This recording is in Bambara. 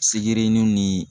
Se yiri niw ni